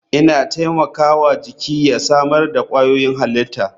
Ina taimaka wa jiki ya samar da kwayoyin halitta.